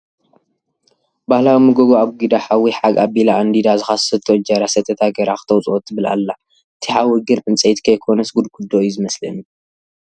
ባህላዊ መጎጎ ኣጊዳ ሓዊ ሓግ ኣቢላ ኣንዲዳ ዝኻሰሶቶ እንጀራ ሰተታ ገይራ ክተውፅኦ ትብል ኣላ ፡ እቲ ሓዊ ግን ዕንዐይቲ ከይኮነስ ጉድጉዶ እዩ ዝመስለኒ።